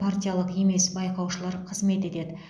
партиялық емес байқаушылар қызмет етеді